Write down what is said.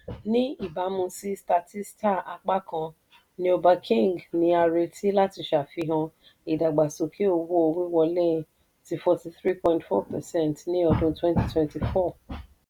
ní ìbámu sí statista apákan neobanking ni a nírètí láti ṣàfihàn ìdàgbàsókè owó-wíwọlé tí forty three point four percent ní ọdún twenty twenty four.